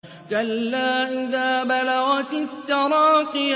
كَلَّا إِذَا بَلَغَتِ التَّرَاقِيَ